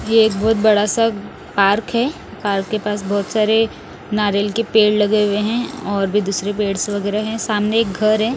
ये बहोत बड़ा सा पार्क है पार्क के पास बहोत सारे नारियल के पेड़ लगे हुए हैं और भी दूसरे पेड़ से वगैरा हैं सामने एक घर है।